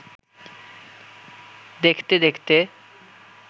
দেখতে দেখতে